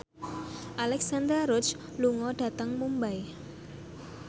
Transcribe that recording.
Alexandra Roach lunga dhateng Mumbai